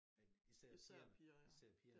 Er i sær pigerne især pigerne